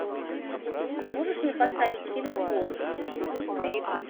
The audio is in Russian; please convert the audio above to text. можешь мне поставить фильм босс